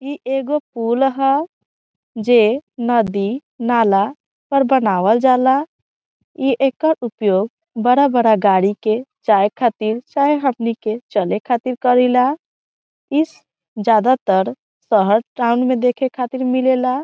ई एगो पूल ह जे नदी नाला पर बनावल जाला ई एकर उपयोग बड़ा-बड़ा गाड़ी के जाये खातिर चाहे हमनी के चले खातिर करइला इस ज्यादातर शहर टाउन में देखे खातिर मिलेला।